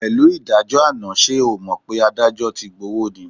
Pẹ̀lú ìdájọ́ àná, ṣe o ò mọ̀ pé adájọ́ ti gbówó ni?